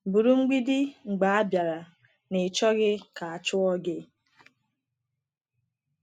Bụrụ “mgbidi” mgbe a bịara n’ịchọghị ka a chụọ gị.